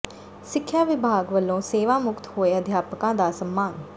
ਸਿੱਖਿਆ ਵਿਭਾਗ ਵਲੋਂ ਸੇਵਾ ਮੁਕਤ ਹੋਏ ਅਧਿਆਪਕਾਂ ਦਾ ਸਨਮਾਨ